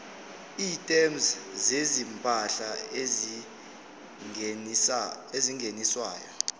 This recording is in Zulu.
items zezimpahla ezingeniswayo